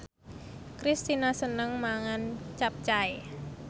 Kristina seneng mangan capcay